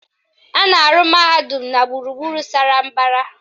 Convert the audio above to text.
A na-arụ mahadum na gburugburu sara mbara